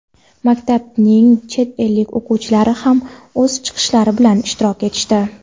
maktabning chet ellik o‘qituvchilari ham o‘z chiqishlari bilan ishtirok etishdi.